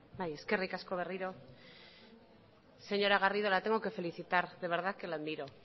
bai eskerrik asko berriro señora garrido la tengo que felicitar de verdad que la admiro